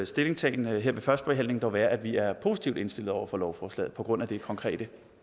stillingtagen her ved førstebehandlingen dog være at vi er positivt indstillet over for lovforslaget på grund af det konkrete